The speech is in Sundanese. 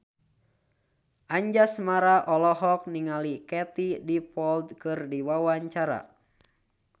Anjasmara olohok ningali Katie Dippold keur diwawancara